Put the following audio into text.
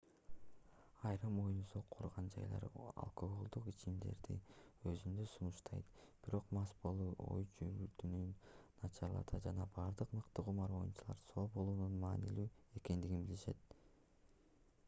айрым оюн-зоок курган жайлар алкоголдук ичимдиктерди өзүндө сунуштайт бирок мас болуу ой жүгүртүүнү начарлатат жана бардык мыкты кумар оюнчулар соо болуунун маанилүү экендигин билишет